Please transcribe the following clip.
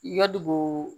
Yadugu